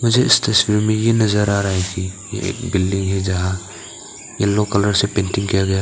मुझे इस तस्वीर में ये नजर आ रहा है कि एक बिल्डिंग है जहां येलो कलर से पेंटिंग किया गया है।